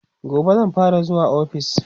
gobe zan fara zuwa ofis